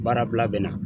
Baara bila